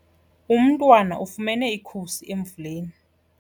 Umntwana ufumene ikhusi emvuleni.